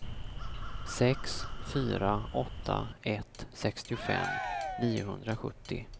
sex fyra åtta ett sextiofem niohundrasjuttio